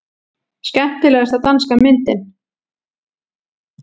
Skemmtilegasta danska myndin